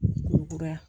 Kura ya